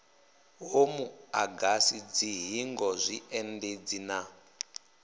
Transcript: ho muagasi dzihingo zwiendedzi na